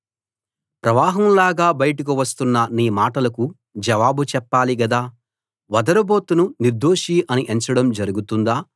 ప్రవాహంలాగా బయటకు వస్తున్న నీ మాటలకు జవాబు చెప్పాలి గదా వదరుబోతును నిర్దోషి అని ఎంచడం జరుగుతుందా